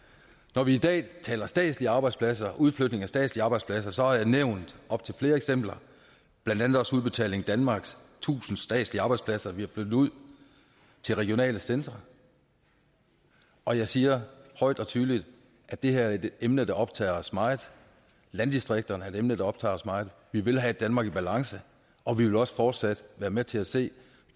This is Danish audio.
når vi i dag taler statslige arbejdspladser og udflytning af statslige arbejdspladser har jeg nævnt op til flere eksempler blandt andet også udbetaling danmarks tusind statslige arbejdspladser vi har flyttet ud til regionale centre og jeg siger højt og tydeligt at det her er et emne der optager os meget landdistrikterne er et emne der optager os meget vi vil have et danmark i balance og vi vil også fortsat være med til at se